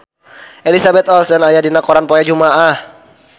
Elizabeth Olsen aya dina koran poe Jumaah